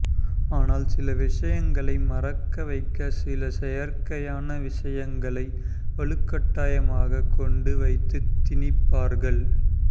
ஆனால் சில விஷயங்களை மறக்க வைக்க சில செயற்கையான விஷயங்களை வலுக்கட்டாயமாக கொண்டு வைத்து திணிப்பார்கள்